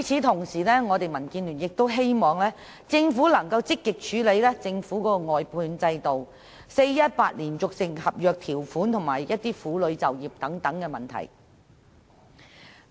同時，民建聯亦希望政府能積極處理其外判制度、俗稱 "4-18" 的連續性合約條款及婦女就業等問題。